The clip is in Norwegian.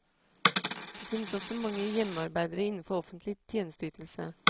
Det finnes også mange hjemmearbeidere innenfor offentlig tjenesteytelse.